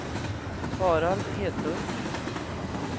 Harald Edlund